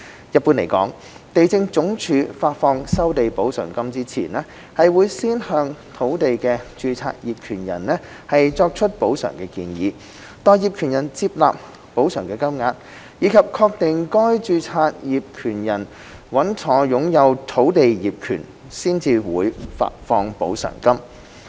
一般來說，地政總署發放收地補償金前，會先向土地的註冊業權人作出補償建議，待業權人接納補償金額，以及確定該註冊業權人穩妥擁有土地業權，才會發放補償金。